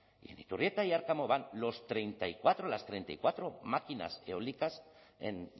y en iturrieta y arkamo van los treinta y cuatro las treinta y cuatro máquinas eólicas en